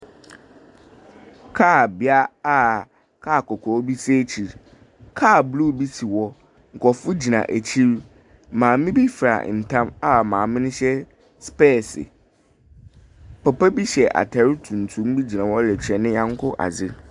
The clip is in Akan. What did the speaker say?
Kaal bea a kaa kɔkɔɔ bi si ekyir. Kaal blue bi si hɔ. Nkurɔfo gyina ekyir. Maame bi fira tam a maame no hyɛ specs. Papa bi hyɛ atr tuntum gyina hɔ rekyɛ ne nyɔnko adze.